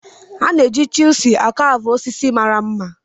A na-eji chiselu a caavu osisi mara mma.